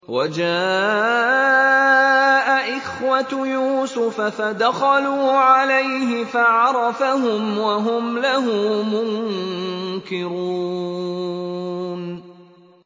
وَجَاءَ إِخْوَةُ يُوسُفَ فَدَخَلُوا عَلَيْهِ فَعَرَفَهُمْ وَهُمْ لَهُ مُنكِرُونَ